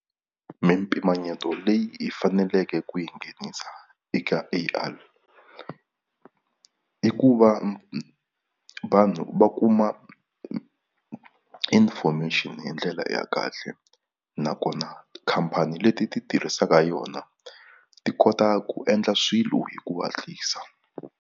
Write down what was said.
Mimpimanyeto leyi faneleke ku yi nghenisa eka A_I i ku va vanhu va kuma information hi ndlela ya kahle nakona khampani leti ti tirhisaka yona ti kota ku endla swilo hi ku hatlisa.